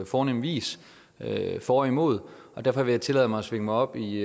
fornem vis for og imod og derfor vil jeg tillade mig at svinge mig op i